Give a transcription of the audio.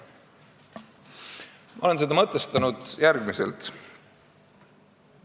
Ma olen seda mõtestanud järgmiselt.